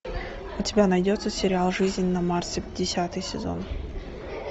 у тебя найдется сериал жизнь на марсе десятый сезон